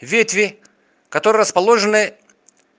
ветви которые расположены